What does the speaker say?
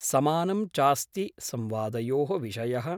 समानं चास्ति संवादयोः विषयः।